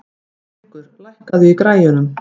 Drengur, lækkaðu í græjunum.